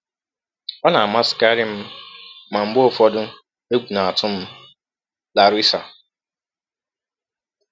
Ọ na-amasịkarị m, ma mgbe ụfọdụ, egwụ na-atụ m.” —Larissa.